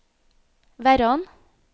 Verran